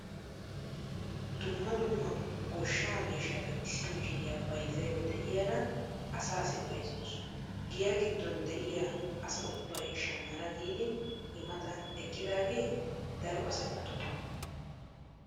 Dumma dumma goshshaa mishshata issi mishiriyaa bayzzayda de'iyaara asaasi bayzzawus. giyaa giddon de'iyaa asa ubbay shammana giidi i matan eqqidagee daro asay attumaagaa.